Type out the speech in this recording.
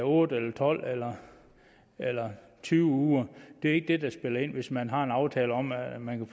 otte tolv eller eller tyve uger det er ikke det der spiller ind hvis man har en aftale om at man